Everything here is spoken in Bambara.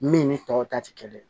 Min ni tɔw ta tɛ kelen ye